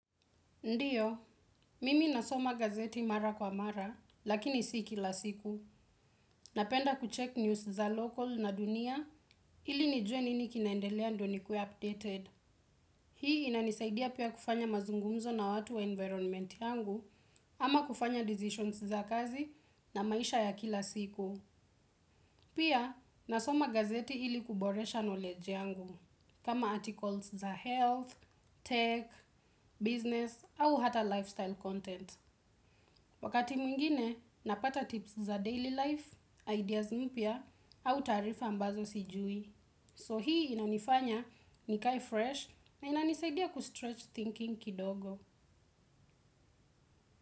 Ndiyo, mimi nasoma gazeti mara kwa mara, lakini si kila siku. Napenda kuchek news za local na dunia, ili nijue nini kinaendelea ndo nikue updated. Hii inanisaidia pia kufanya mazungumzo na watu wa environment yangu, ama kufanya decisions za kazi na maisha ya kila siku. Pia, nasoma gazeti ili kuboresha knowledge yangu, kama articles za health, tech, business, au hata lifestyle content. Wakati mwingine, napata tips za daily life, ideas mpya, au tarifa ambazo sijui. So hii inanifanya ni kai fresh na inanisaidia kustretch thinking kidogo.